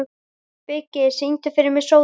Biggi, syngdu fyrir mig „Sódóma“.